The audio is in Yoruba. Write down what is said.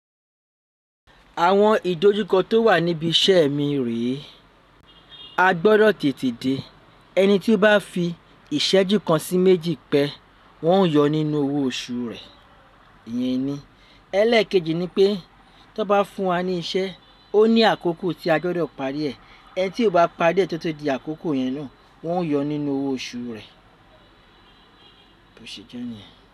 Àwọn ìdojúkọ tó wà níbi iṣẹ́ mi rè, a gbọdọ tètè dé ẹni tí bá fi ìṣẹ́jú kan sí méjì pẹ́ wọn ó yọ nínú owó oṣù rẹ. Ìyẹn ini. Élékèjì ni pé tó bá fún wa ní iṣẹ́, ó ní àkókò tí a gbọdọ parí ẹ̀. Ẹni tí ó bá parí ẹ̀ tó tó di àkókò yẹn náà, wọn ó yọ nínú owó oṣù rẹ̀. Bó se je niyẹn.